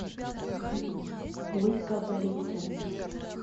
ольга борисовна